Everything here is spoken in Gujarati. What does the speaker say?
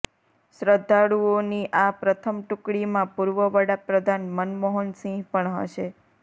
શ્રદ્ધાળુઓની આ પ્રથમ ટુકડીમાં પૂર્વ વડાપ્રધાન મનમોહન સિંહ પણ હશે